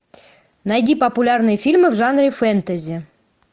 найди популярные фильмы в жанре фэнтези